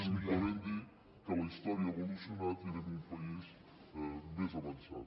simplement dir que la història ha evolucionat i que anem a un país més avançat